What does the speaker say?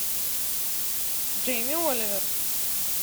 джейми оливер